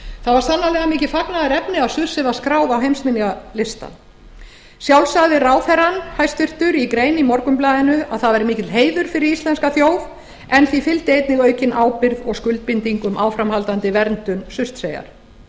það var sannarlega mikið fagnaðarefni að surtsey var skráð á heimsminjalistann sjálf sagði hæstvirtur ráðherra í grein í morgunblaðinu að það væri mikill heiður fyrir íslenska þjóð en því fylgdi einnig aukin ábyrgð og skuldbinding um áframhaldandi verndun surtseyjar